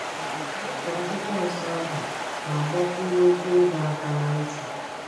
Ma otu amaokwu akwụkwọ nsọ ahụ na - agbakwụnye okwu ịdọ aka ná ntị.